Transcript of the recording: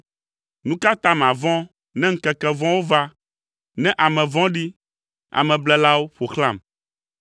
Nu ka ta mavɔ̃ ne ŋkeke vɔ̃wo va, ne ame vɔ̃ɖi, ameblelawo ƒo xlãm,